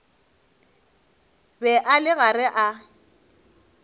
be a le gare a